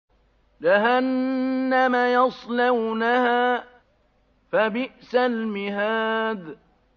جَهَنَّمَ يَصْلَوْنَهَا فَبِئْسَ الْمِهَادُ